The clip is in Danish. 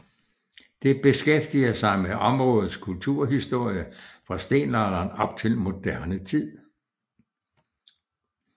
Det beskæftiger sig med områdets kulturhistorie fra stenalderen op til moderne tid